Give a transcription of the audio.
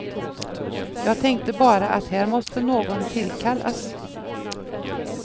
Jag tänkte bara, att här måste någon tillkallas.